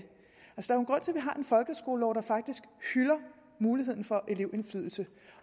folkeskolelov der faktisk hylder muligheden for elevindflydelse